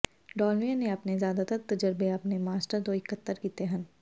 ਡਾਲਮੀਅਨ ਨੇ ਆਪਣੇ ਜ਼ਿਆਦਾਤਰ ਤਜਰਬੇ ਆਪਣੇ ਮਾਸਟਰ ਤੋਂ ਇਕੱਤਰ ਕੀਤੇ ਹਨ